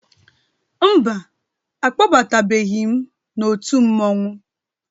Mba, a kpọbatabeghi m n'òtù mmọnwụ.